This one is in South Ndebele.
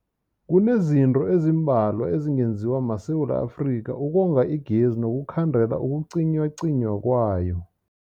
Kunezinto ezimbalwa ezingenziwa maSewula Afrika ukonga igezi nokukhandela ukucinywacinywa kwayo.